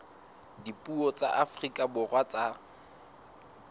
dipuo tsa afrika borwa tsa